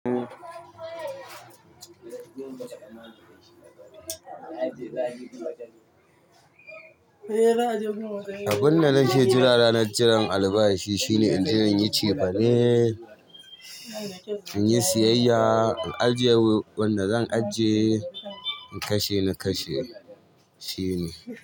Abun da nake jira ranar jiran albashi shine in je in yi cefane, in yi siyayya, in ajiye wanda zan ajiye, in kashe na kashe. Shine.